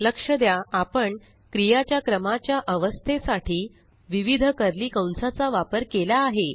लक्ष द्या आपण क्रियाच्या क्रमाच्या अवस्थे साठी विविध कर्ली कंसाचा वापर केला आहे